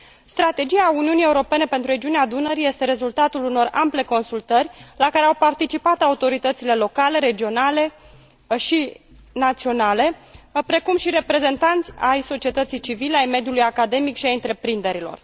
Strategia Uniunii Europene pentru regiunea Dunării este rezultatul unor ample consultări la care au participat autoritățile locale, regionale și naționale, precum și reprezentanți ai societății civile, ai mediului academic și ai întreprinderilor.